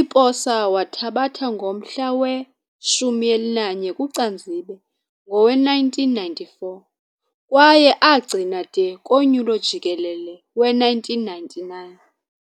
i-posa wathabatha ngomhla we-11 Kucanzibe ngowe-1994 kwaye agcina de konyulo jikelele we-1999.